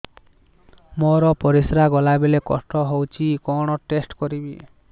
ମୋର ପରିସ୍ରା ଗଲାବେଳେ କଷ୍ଟ ହଉଚି କଣ ଟେଷ୍ଟ କରିବି